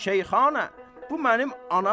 Şeyxana, bu mənim anamdır.